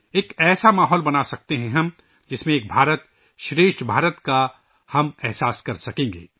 ہم ایسا ماحول بنا سکتے ہیں ، جس میں ہم 'ایک بھارتشریشٹھ بھارت ' کا تجربہ کر سکیں گے